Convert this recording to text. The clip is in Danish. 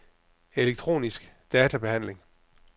elektronisk databehandling